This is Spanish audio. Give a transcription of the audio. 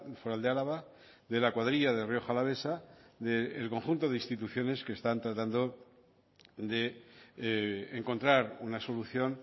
foral de álava de la cuadrilla de rioja alavesa del conjunto de instituciones que están tratando de encontrar una solución